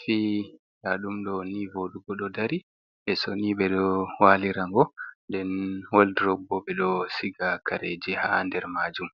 fi nda ɗum ɗo ni voɗugo ɗo dari, lesoni ɓeɗo walirango nden woldrob bo ɓeɗo siga kareji ha nder majum.